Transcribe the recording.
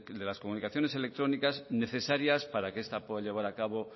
de las comunicaciones electrónicas necesarias para que esta pueda llevar a cabo